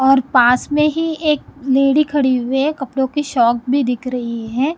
और पास में ही एक लेडी खड़ी हुये है कपड़ों की शॉप भी दिख रही है।